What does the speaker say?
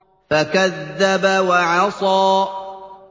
فَكَذَّبَ وَعَصَىٰ